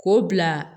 K'o bila